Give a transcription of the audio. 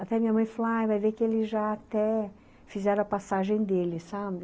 Até minha mãe, falou, ah, vai vê que ele já até fizeram a passagem dele, sabe?